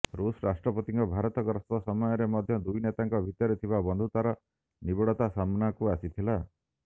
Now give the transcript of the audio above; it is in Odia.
ରୁଷ ରାଷ୍ଟ୍ରପତିଙ୍କ ଭାରତ ଗସ୍ତ ସମୟରେ ମଧ୍ୟ ଦୁଇ ନେତାଙ୍କ ଭିତରେ ଥିବା ବନ୍ଧୁତାର ନିବିଡତା ସାମ୍ନାକୁ ଆସିିଥିଲା